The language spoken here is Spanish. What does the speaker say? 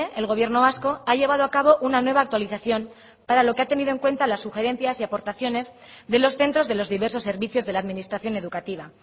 el gobierno vasco ha llevado a cabo una nueva actualización para lo que ha tenido en cuenta las sugerencias y aportaciones de los centros de los diversos servicios de la administración educativa